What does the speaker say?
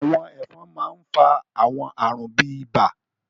àwọn ẹfọn mà n fa àwọn àarun bi ibà